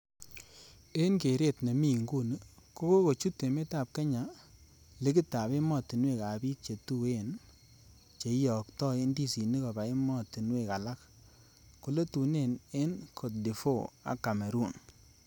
En keeret ne mi inguni, Ko kochut emetab Kenya ligitab emotinwek ab bik chetuen che iyokto indisinik koba emotwek alak, koletunen en Cote d' Ivoire ak Cameroon.